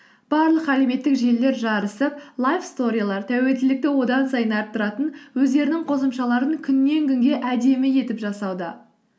барлық әлеуметтік желілер жарысып лайф сторилер тәуелділікті одан сайын арттыратын өздерінің қосымшаларын күннен күнге әдемі етіп жасауда